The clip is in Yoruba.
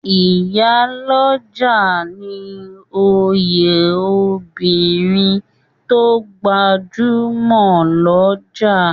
Ìyá olójà ní òye obìrin to gbajúmò jù l'ọja